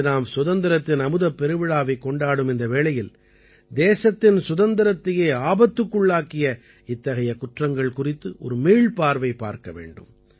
இன்று நாம் சுதந்திரத்தின் அமுதப் பெருவிழாவைக் கொண்டாடும் இந்த வேளையில் தேசத்தின் சுதந்திரத்தையே ஆபத்துக்குள்ளாக்கிய இத்தகைய குற்றங்கள் குறித்து ஒரு மீள்பார்வை பார்க்க வேண்டும்